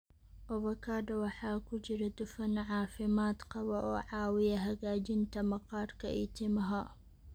Avocado waxaa ku jira dufan caafimaad qaba oo caawiya hagaajinta maqaarka iyo timaha.